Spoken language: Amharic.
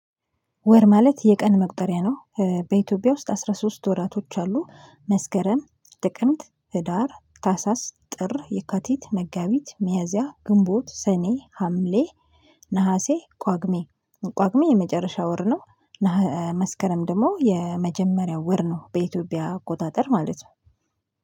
ወር ማለት የቀን መቁጠሪያ ነው በኢትዮጵያ ውስጥ አስራ ሶስት ወራቶች አሉ መስከረም ጥቅምት ህዳር ታህሳስ ጥር የካቲት መጋቢት ሚያዚያ ግንቦት ሰኔ ሀምሌ ነሀሴ ጳጉሜ ጳጉሜ የመጨረሻ ወር ነው። ነሃ መስከረም ደግሞ የመጀመሪያው ወር ነው በኢትዮጵያ አቆጣጠር ማለት ነው።